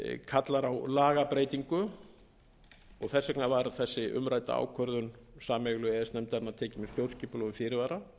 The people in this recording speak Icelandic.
kallar á lagabreytingu og þess vegna varð þessi umrædda ákvörðun sameiginlegu e e s nefndarinnar tekin með stjórnskipulegum fyrirvara og